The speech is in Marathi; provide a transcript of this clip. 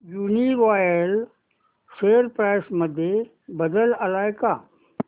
यूनीरॉयल शेअर प्राइस मध्ये बदल आलाय का